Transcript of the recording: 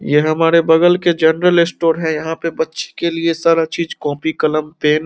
ये हमारे बगल के जनरल स्टोर है यहाँ पे बच्चे के लिए सारा चीज़ कॉपी कलम पेन --